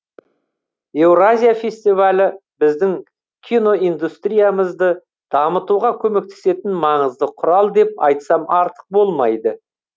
еуразия фестивалі біздің киноиндустриямызды дамытуға көмектесетін маңызды құрал деп айтсам артық болмайды